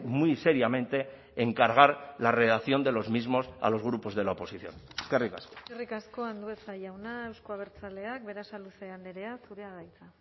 muy seriamente encargar la redacción de los mismos a los grupos de la oposición eskerrik asko eskerrik asko andueza jauna euzko abertzaleak berasaluze andrea zurea da hitza